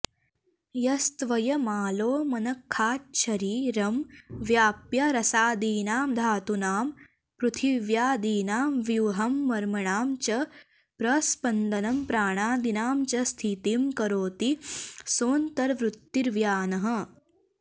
यस्त्वयमालोमनखाच्छरीरं व्याप्य रसादीनां धातूनां पृथिव्यादिनां व्यूहं मर्मणां च प्रस्पन्दनं प्राणादीनां च स्थितिं करोति सोऽन्तर्वृत्तिर्व्यानः